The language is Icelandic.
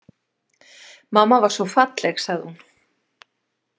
Mamma var svo falleg, sagði hún.